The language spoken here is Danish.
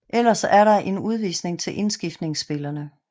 Ellers er der en udvisning til indskiftningsspilleren